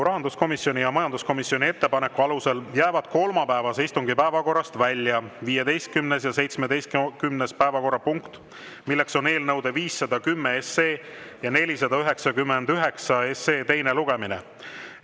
Rahanduskomisjoni ja majanduskomisjoni ettepaneku alusel jäävad kolmapäevase istungi päevakorrast välja 15. ja 17. päevakorrapunkt, eelnõude 510 ja 499 teine lugemine.